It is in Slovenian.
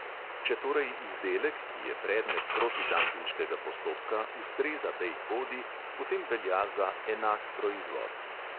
Če torej izdelek, ki je predmet protidampinškega postopka, ustreza tej kodi, potem velja za "enak proizvod".